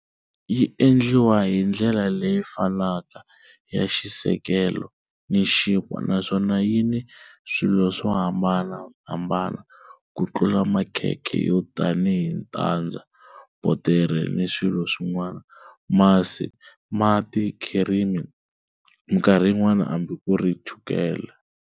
Yi endliwa hi ndlela leyi fanaka ya xisekelo ni xinkwa naswona yi ni swilo swo hambanahambana ku tlula makhekhe yo tanihi tandza, botere ni swilo swin'wana, masi, mati, khirimi, minkarhi yin'wana hambi ku ri chukela